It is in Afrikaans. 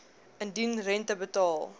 indien rente betaal